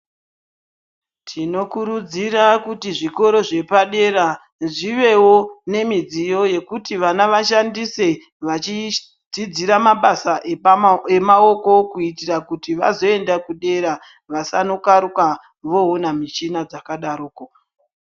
Tinokurudzira kuti zvikoro zvepadera zvivewo nemidziyo yekuti vana vashandise vachidzidzira mabasa emawoko kuitira kuti vazoenda kudera vasanokaruka voona mishina dzakadarodzo